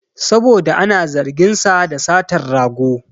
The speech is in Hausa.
Saboda ana zargin sa da satan rago